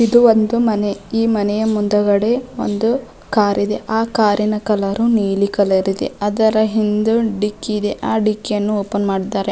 ಇದು ಒಂದು ಮನೆ ಈ ಮನೆಯ ಮುಂದುಗಡೆ ಒಂದು ಕಾರಿದೆ ಆ ಕಾರಿನ ನ ಕಲರ್ ನೀಲಿ ಕಲರ್ ಇದೆ ಅದರ ಹಿಂದೆ ಡಿಕ್ಕಿದೆ ಆ ಡಿಕ್ಕಿಯನ್ನು ಓಪನ್ ಮಾಡಿದ್ದಾರೆ.